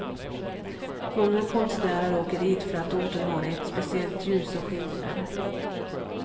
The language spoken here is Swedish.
Många konstnärer åker dit för att orten har ett speciellt ljus och skimmer.